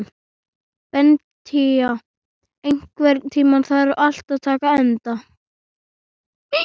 Beníta, einhvern tímann þarf allt að taka enda.